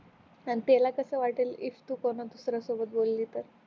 पण त्याला कस वाटेल समज दुसऱ्या बोलली तर